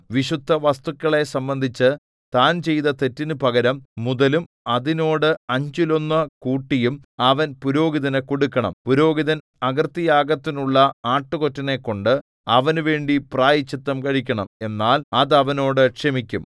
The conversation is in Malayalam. വിശുദ്ധവസ്തുക്കളെ സംബന്ധിച്ചു താൻ ചെയ്ത തെറ്റിനു പകരം മുതലും അതിനോട് അഞ്ചിലൊന്നു കൂട്ടിയും അവൻ പുരോഹിതനു കൊടുക്കണം പുരോഹിതൻ അകൃത്യയാഗത്തിനുള്ള ആട്ടുകൊറ്റനെക്കൊണ്ട് അവനുവേണ്ടി പ്രായശ്ചിത്തം കഴിക്കണം എന്നാൽ അത് അവനോട് ക്ഷമിക്കും